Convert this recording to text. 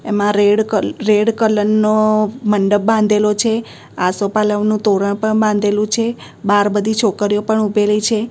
એમાં રેડ ક red colour નો મંડપ બાંધેલો છે આસોપાલવનું તોરણ પણ બાંધેલું છે બાર બધી છોકરીઓ પણ ઉભેલી છે.